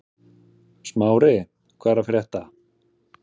Smári, hvað er að frétta?